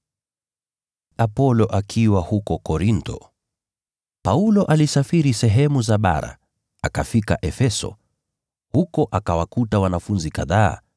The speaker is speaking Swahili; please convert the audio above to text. Apolo alipokuwa huko Korintho, Paulo alisafiri sehemu za bara, akafika Efeso. Huko akawakuta wanafunzi kadhaa,